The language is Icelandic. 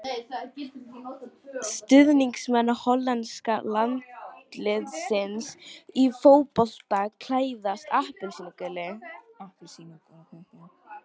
Stuðningsmenn hollenska landsliðsins í fótbolta klæðast appelsínugulu.